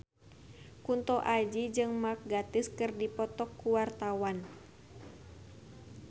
Kunto Aji jeung Mark Gatiss keur dipoto ku wartawan